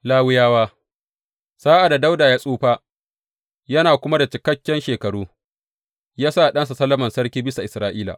Lawiyawa Sa’ad da Dawuda ya tsufa yana kuma da cikakken shekaru, ya sa ɗansa Solomon sarki bisa Isra’ila.